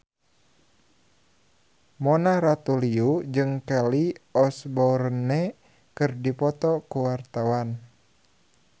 Mona Ratuliu jeung Kelly Osbourne keur dipoto ku wartawan